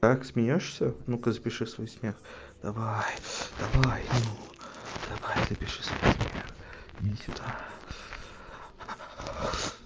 так смеёшься ну-ка запиши свой смех давай давай ну давай запиши свой смех иди сюда